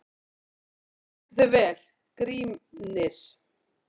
Þú stendur þig vel, Grímnir!